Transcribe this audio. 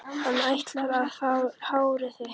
Hann ætlar að fá hárið þitt.